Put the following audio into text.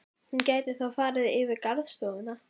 Hún gæti þá farið yfir í garðstofuna.